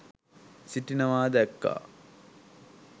සිටිනවා දැක්‌කා